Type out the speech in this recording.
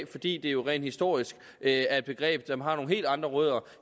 fordi det rent historisk er et begreb som har nogle helt andre rødder